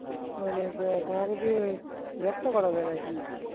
তোমাকে দিয়ে ব্যাবসা করবে নাকি